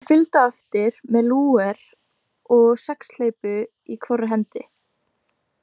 Ég fylgdi á eftir með Lúger og sexhleypu í hvorri hendi.